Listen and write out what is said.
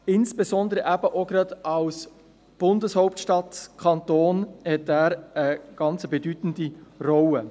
Insbesondere auch als Kanton der Bundeshauptstadt hat er eine bedeutende Rolle.